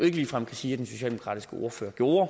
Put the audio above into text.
ikke ligefrem kan sige at den socialdemokratiske ordfører gjorde